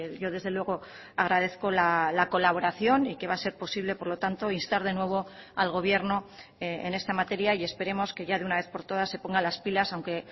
yo desde luego agradezco la colaboración y que va a ser posible por lo tanto instar de nuevo algobierno en esta materia y esperemos que ya de una vez por todas se ponga las pilas aunque